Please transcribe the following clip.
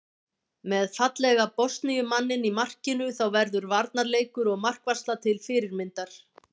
Með fallega Bosníu manninn í markinu þá verður varnarleikur og markvarsla til fyrirmyndar.